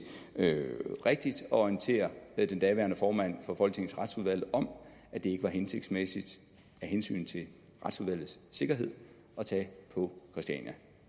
rigtigt at orientere den daværende formand for folketingets retsudvalg om at det ikke var hensigtsmæssigt af hensyn til retsudvalgets sikkerhed at tage på christiania